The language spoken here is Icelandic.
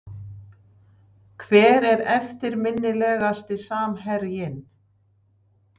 Hver er eftirminnilegasti samherjinn?